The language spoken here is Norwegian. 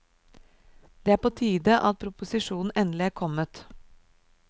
Det er på tide at proposisjonen endelig er kommet.